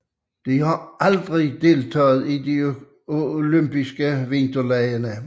De har aldrig deltaget i olympiske vinterlege